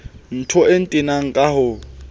ntho e ntenang ka ho